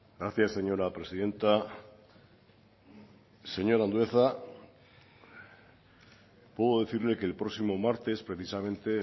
gracias señora presidenta señor andueza puedo decirle que el próximo martes precisamente